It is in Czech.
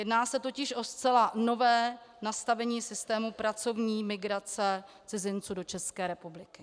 Jedná se totiž o zcela nové nastavení systému pracovní migrace cizinců do České republiky.